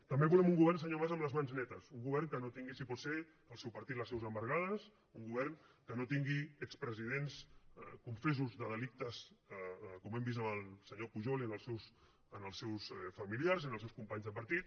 també volem un govern senyor mas amb les mans netes un govern que no tingui si pot ser el seu partit les seus embargades un govern que no tingui expresidents confessos de delictes com hem vist amb el senyor pujol i amb els seus familiars i amb els seus companys de partit